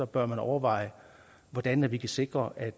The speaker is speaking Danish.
bør man overveje hvordan vi kan sikre at